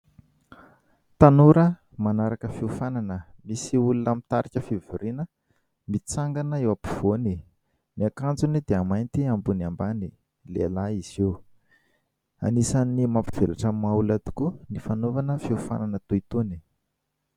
Tanora manaraka fiofanana. Misy olona mitarika fivoriana mitsangana eo ampovoany. Ny akanjony dia mainty ambony ambany, lehilahy izy io. Anisan'ny mampivelatra ny maha olona tokoa ny fanaovana fiofanana toy itony.